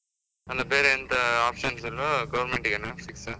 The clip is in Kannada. ಅಲ್ಲಾ ಬೇರೆ ಎಂತ options ಇಲ್ವಾ? Government ಗೆನಾ fix ಆ?